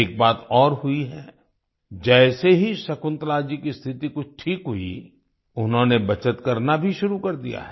एक बात और हुई है जैसे ही शकुंतला जी की स्थिति कुछ ठीक हुई उन्होंने बचत करना भी शुरू कर दिया है